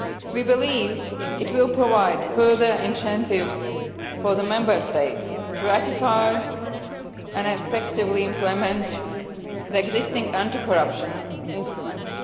We believe it will provide further incentives for the Member States to ratify and effectively implement the existing anti corruption instruments.